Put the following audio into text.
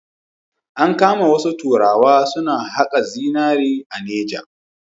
An kama wasu turawa suna haƙa zinari a Neja.